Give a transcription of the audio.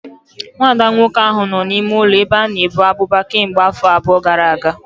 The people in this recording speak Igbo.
Nwa ada nwoke ahụ nọ n'ime ụlọ ebe a na-ebu abụba kemgbe afọ abụọ gara aga